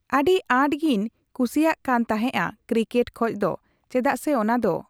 ᱟᱹᱰᱤ ᱟᱴᱜᱤᱧ ᱠᱩᱥᱤᱭᱟᱜ ᱠᱟᱱᱛᱟᱦᱮᱸᱜᱼᱟ ᱠᱨᱤᱠᱮᱴ ᱠᱷᱚᱡᱫᱚ ᱪᱮᱫᱟᱜᱥᱮ ᱚᱱᱟᱫᱚ